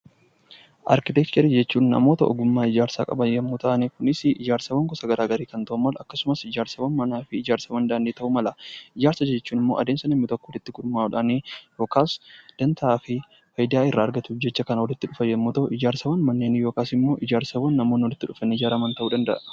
Arkiteekcharii jechuun namoota ogummaa ijaarsaa qaban yommuu ta'an Kunis ijaarsawwan gosa garaagaraa ijaarsa daandii fi manaa ta'uu mala. Ijaarsa jechuun immoo adeemsa namni tokko walitti gurmaa'uudhaan yookaan fayidaa irraa argatuuf jecha kan walitti dhufu yoo ta'u, ijaarsawwan namoonni walitti dhufanii ijaaran ta'uu danda'a.